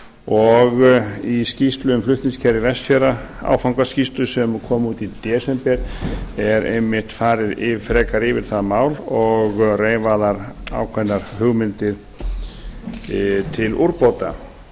og í skýrslu um flutningskerfi vestfjarða áfangaskýrslu sem kom út í desember er einmitt farið frekar yfir það mál og reifaðar ákveðnar hugmyndir til úrbóta